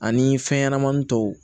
Ani fɛnɲɛnamanin tɔw